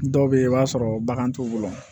Dɔw bɛ yen i b'a sɔrɔ bagan t'u bolo